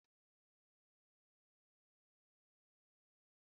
Utọ ofe banga na eba na amasị Linda